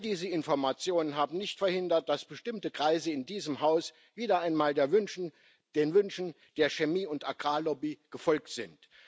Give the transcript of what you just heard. All diese Informationen haben nicht verhindert, dass bestimmte Kreise in diesem Haus wieder einmal den Wünschen der Chemie und Agrarlobby gefolgt sind.